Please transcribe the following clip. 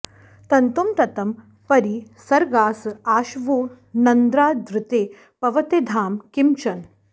तन्तुं ततं परि सर्गास आशवो नेन्द्रादृते पवते धाम किं चन